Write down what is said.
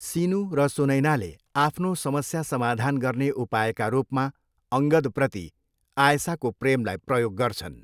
सिनु र सुनैनाले आफ्नो समस्या समाधान गर्ने उपायका रूपमा अङ्गदप्रति आयसाको प्रेमलाई प्रयोग गर्छन्।